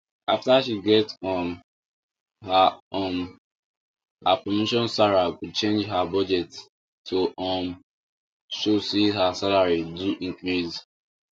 after she get um her um her promotion sarah go change her budget to um show say her salary do increase